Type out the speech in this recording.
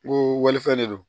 Ko walifɛn de don